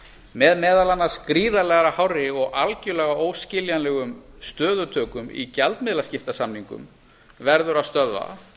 með meðal annars gríðarlega hárri og algjörlega óskiljanlegum stöðutökum í gjaldmiðlaskiptasamningum verður að stöðva